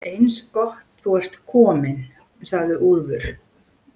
Eins gott að þú ert komin, sagði Úlfur.